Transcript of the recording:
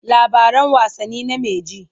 Labaran wasanni name ji.